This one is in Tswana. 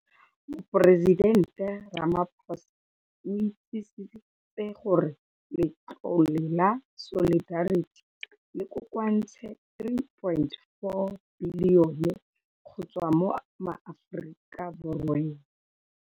Moporesidente Ramaphosa o itsisitse gore Letlole la Solidarity le kokoantse R3.4 bilione go tswa mo maAforika Borweng.